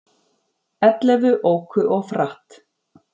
Ellefu óku of hratt